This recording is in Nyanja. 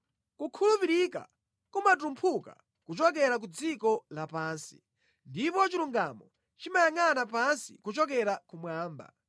Kukhulupirika kumatumphuka kuchokera ku dziko lapansi, ndipo chilungamo chimayangʼana pansi kuchokera kumwamba.